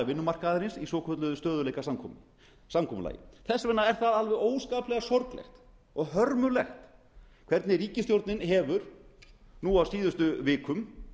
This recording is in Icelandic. vinnumarkaðarins í svokölluðu stöðugleikasamkomulagi þess vegna er það alveg óskaplega sorglegt og hörmulegt hvernig ríkisstjórnin hefur nú á síðustu vikum